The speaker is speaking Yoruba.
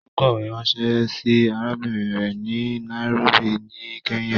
Ó kọ̀wę ránṣẹ́ sí arábìrin rẹ̀ ni Nairobi ní Kenya.